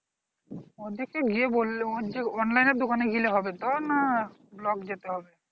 ওদেরকে নিয়ে বলল ওর যে online দোকানে গেলে হবে না block যেতে হবে?